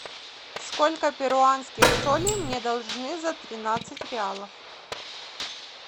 сколько перуанских солей мне должны за тринадцать реалов